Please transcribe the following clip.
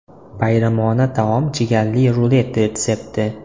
Bayramona taom jigarli rulet retsepti.